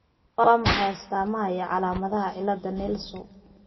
Waa maxay astamaha iyo calaamadaha cilada Nelson ?